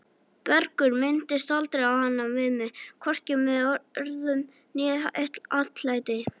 Bergur minntist aldrei á hana við mig, hvorki með orðum né atlæti.